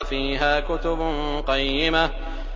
فِيهَا كُتُبٌ قَيِّمَةٌ